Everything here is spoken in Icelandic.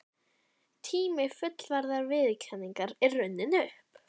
Tími fullrar viðurkenningar er runninn upp.